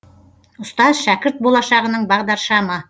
ұстаз шәкірт болашағының бағдаршамы